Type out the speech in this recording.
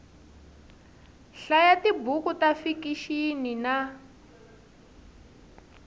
hlaya tibuku ta fikixini na